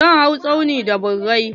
Zan hau tsaunin da birai.